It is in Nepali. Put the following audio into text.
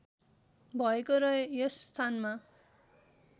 भएको र यस स्थानमा